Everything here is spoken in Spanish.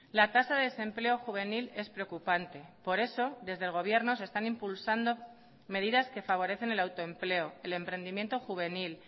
la tasa de desempleo juvenil es preocupante por eso desde el gobierno se están impulsando medidas que favorecen el autoempleo el emprendimiento juvenil